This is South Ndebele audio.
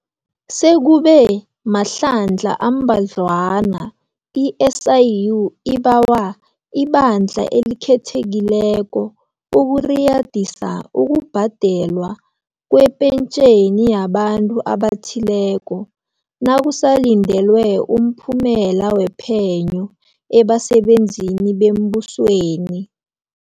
Sekube mahlandla ambadlwana i-SIU ibawa iBandla eliKhethekile ukuriyadisa ukubhadelwa kwepentjheni yabantu abathileko, nakusalindelwe umphumela wephenyo, ebasebenzini bembusweni.